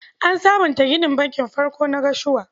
An sabunta ginin Bankin farkon na Gashua.